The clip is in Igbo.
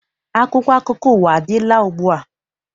Akwụkwọ akụkọ ụwa adịla ugbua?